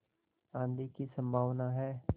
आँधी की संभावना है